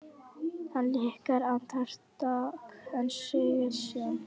Hann hikar andartak en segir síðan